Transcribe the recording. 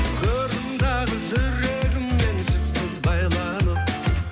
көрдім дағы жүрегіммен жіпсіз байланып